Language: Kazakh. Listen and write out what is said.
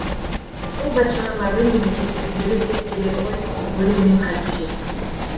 сол бәтшағарларды мен емес өздері іздеп келеді ғой өлермен халге жетіп